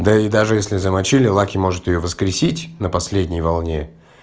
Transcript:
да и даже если замочили лаки может её воскресить на последней волне